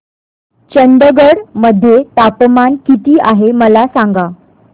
चंदगड मध्ये तापमान किती आहे मला सांगा